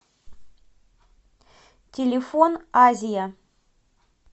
телефон азия